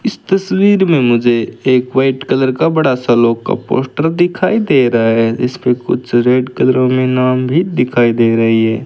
इस तस्वीर में मुझे एक व्हाइट कलर का बड़ा सा का पोस्टर दिखाई दे रहा है जिसप कुछ रेड कलर में नाम भी दिखाई दे रही है।